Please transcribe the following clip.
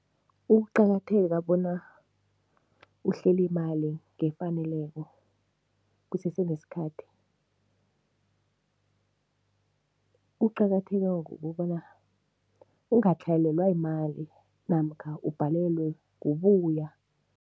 Ukuqakatheka bona uhlele imali ngefaneleko kusese nesikhathi, kuqakatheke ngokobana ungatlhayelelwa yimali namkha ubhalelwe kubuya.